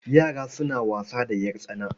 Yara suna wasa da ƴartsana.